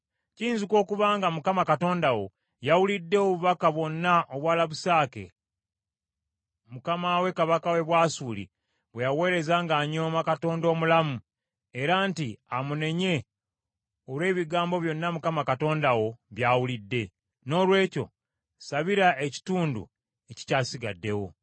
Kiyinzika okuba nga Mukama Katonda wo yawulidde obubaka bwonna obwa Labusake, mukama we kabaka w’e Bwasuli bwe yaweereza ng’anyooma Katonda omulamu, era nti amunenye olw’ebigambo byonna Mukama Katonda wo by’awulidde. Noolwekyo ssabira ekitundu ekikyasigaddewo.”